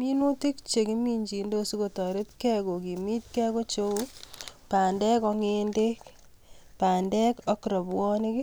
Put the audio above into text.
Minutik chekimjindos sikotoretkei kokimitkei ko cheu bandek ak ng'endek, bandek ak robwonik,